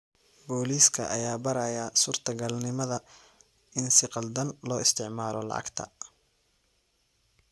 Booliska ayaa baaraya suurta galnimada in si khaldan loo isticmaalo lacagta.